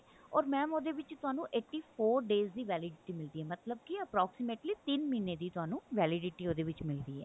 ਓਰ mam ਉਹਦੇ ਵਿੱਚ ਤੁਹਾਨੂੰ eighty four days ਦੀ validity ਮਿਲਦੀ ਹੈ ਮਤਲਬ ਕੀ approximately ਤਿੰਨ ਮਹੀਨੇ ਦੀ validity ਤੁਹਾਨੂੰ ਉਹਦੇ ਵਿੱਚ ਮਿਲਦੀ ਹੈ